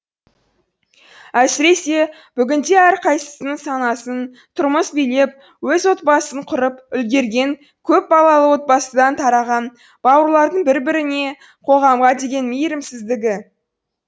әсіресе бүгінде әрқайсысының санасын тұрмыс билеп өз отбасын құрып үлгерген көп балалы отбасыдан тараған бауырлардың бір біріне қоғамға деген мейірімсіздігі